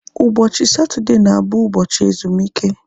Ụbọchị Satọdee na abụ ụbọchị ezumike